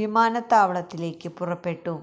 വിമാനത്താവളത്തിലേക്ക് പുറപ്പെട്ടു